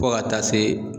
Fo ka taa se